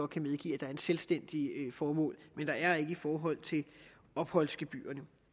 kan medgive at der er et selvstændigt formål men der er det ikke i forhold til opholdsgebyrerne